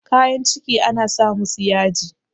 kayan ciki ana sa musu yaji